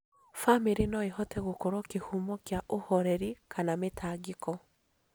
Bamĩrĩ no ĩhote gũkorwo kĩhumo kĩa ũhoreri kana mĩtangĩko,